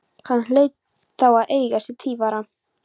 Hann hlaut þá að eiga sér tvífara!